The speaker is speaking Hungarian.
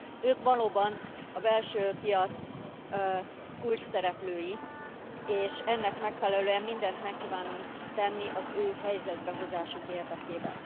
Ők valóban a belső piac kulcsszereplői, és ennek megfelelően mindent meg kívánunk tenni az ő helyzetbe hozásuk érdekében.